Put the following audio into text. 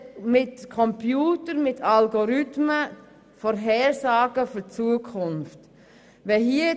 Mittels Algorithmen werden Vorhersagen für die Zukunft gemacht.